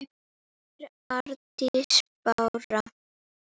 þín Arndís Bára.